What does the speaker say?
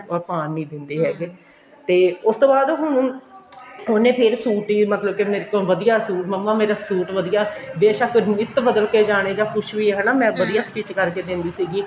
or ਪਾਨ ਨੀ ਦਿੰਦੇ ਹੈਗੇ ਤੇ ਉਸ ਤੋਂ ਬਾਅਦ ਹੁਣ ਉਹਨੇ ਫੇਰ suit ਹੀ ਮਤਲਬ ਫੇਰ ਮੇਰੇ ਤੋਂ ਵਧੀਆ suit ਮੰਮਾ ਮੇਰਾ suit ਬੇਸ਼ਕ ਨਿੱਤ ਬਦਲ ਕੇ ਜਾਣੇ ਜਾ ਕੁੱਛ ਵੀ ਐ ਹਨਾ ਮੈਂ ਵਧੀਆ stich ਕਰਕੇ ਦਿੰਦੀ ਸੀਗੀ